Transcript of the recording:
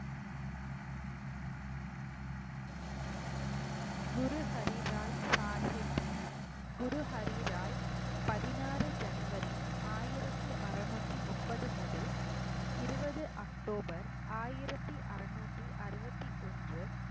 குரு ஹரி ராய் சாகிப் குரு ஹரி ராய் பதினாறு january ஆயிரத்தி அறநூத்தி முப்பது முதல் இருவது october ஆயிரத்தி அறநூத்தி அறுவத்தி ஒன்று